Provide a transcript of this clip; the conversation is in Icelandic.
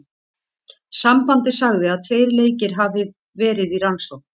Sambandið sagði að tveir leikir hafi verði í rannsókn.